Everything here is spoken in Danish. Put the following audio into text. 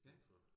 Ja